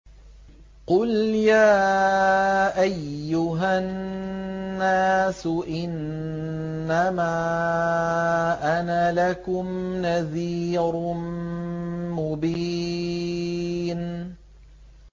قُلْ يَا أَيُّهَا النَّاسُ إِنَّمَا أَنَا لَكُمْ نَذِيرٌ مُّبِينٌ